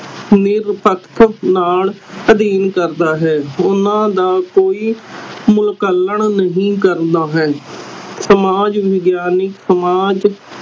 ਸਮੂਹ ਪੱਖ ਨਾਲ ਅਧੀਨ ਕਰਦਾ ਹੈ ਓਹਨਾ ਦਾ ਕੋਈ ਮੁਲਾਂਕਣ ਨਹੀਂ ਕਰਨਾ ਹੈ ਸਮਾਜ ਵਿਗਿਆਨਿਕ ਸਮਾਜ